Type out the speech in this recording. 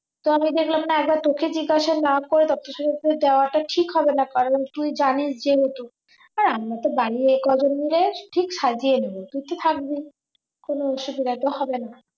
তো আমি দেখলাম না একবার তোকে জিজ্ঞাসা না করে তত্ত্ব সাজাতে যাওয়াটা ঠিক হবে না কারণ তুই জানিস যেহুতু আর আমরা তো বাড়ির এই কজন মিলে ঠিক সাজিয়ে নেব তুই তো থাকবি কোন অসুবিধা তো হবে না